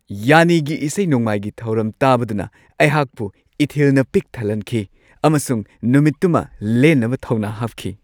ꯌꯥꯟꯅꯤꯒꯤ ꯏꯁꯩ-ꯅꯣꯡꯃꯥꯏꯒꯤ ꯊꯧꯔꯝ ꯇꯥꯕꯗꯨꯅ ꯑꯩꯍꯥꯛꯄꯨ ꯏꯊꯤꯜꯅ ꯄꯤꯛ ꯊꯜꯍꯟꯈꯤ ꯑꯃꯁꯨꯡ ꯅꯨꯃꯤꯠꯇꯨꯃ ꯂꯦꯟꯅꯕ ꯊꯧꯅꯥ ꯍꯥꯞꯈꯤ ꯫